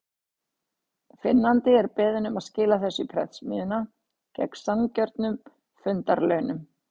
Finnandi er beðinn um að skila þessu í prentsmiðjuna, gegn sanngjörnum fundarlaunum.